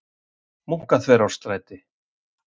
Munkaþverárstræti